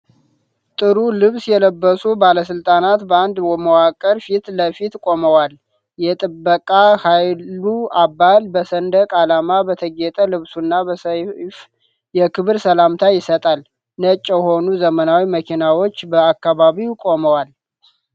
ጥሩ ልብስ የለበሱ ባለሥልጣናት በአንድ መዋቅር ፊት ለፊት ቆመዏል። የጥበቃ ኃይሉ አባል በሰንደቅ ዓላማ በተጌጠ ልብሱና በሰይፍ የክብር ሰላምታ ይሰጣል፤ ነጭ የሆኑ ዘመናዊ መኪናዎች በአካባቢው ቆመዋል።